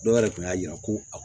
Dɔw yɛrɛ kun y'a jira ko